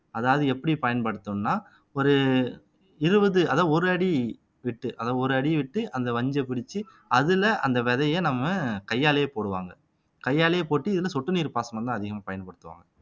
அதாவது எப்படி பயன்படுத்தணும்ன்னா ஒரு இருபது அதாவது ஒரு அடி விட்டு அதை ஒரு அடி விட்டு அந்த வஞ்சைப் பிரிச்சு அதுல அந்த விதைய நம்ம கையாலேயே போடுவாங்க கையாலேயே போட்டு இதுல சொட்டு நீர் பாசனம்தான் அதிகமா பயன்படுத்துவாங்க